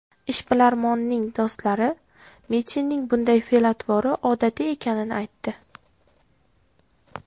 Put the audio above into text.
Ishbilarmonning do‘stlari Mitinning bunday fe’l-atvori odatiy ekanini aytdi.